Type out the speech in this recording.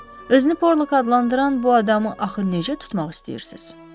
Özünü Porlok adlandıran bu adamı axı necə tutmaq istəyirsiz?